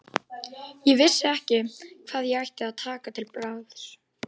Ég vissi ekki hvað ég ætti að taka til bragðs.